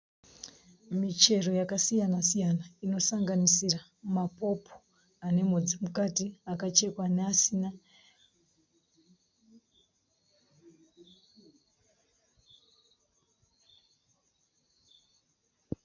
Michero yakasiyana-siyana inosanganisira mapopo anemhodzi mukati, akachekwa neasina.